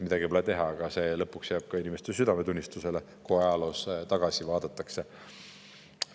Midagi pole teha, aga see jääb lõpuks inimeste südametunnistusele, kui ajaloos tagasi vaadatakse.